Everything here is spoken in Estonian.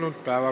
Aitäh!